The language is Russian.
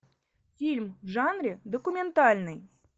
фильм в жанре документальный